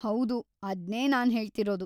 ಹೌದು, ಅದ್ನೇ ನಾನ್ ಹೇಳ್ತಿರೋದು.